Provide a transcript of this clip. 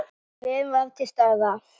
Gleðin var til staðar.